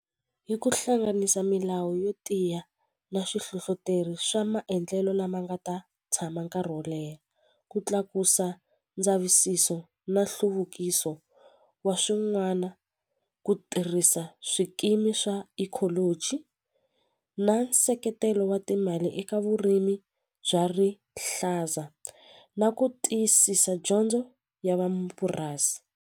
Hi ku hlanganisa milawu yo tiya na swihlohloteri swa maendlelo lama nga ta tshama nkarhi wo leha ku tlakusa ndzavisiso na nhluvukiso wa swin'wana ku tirhisa swikimi swa ecology na nseketelo wa timali eka vurimi bya rihlaza na ku tiyisisa dyondzo ya vamapurasi.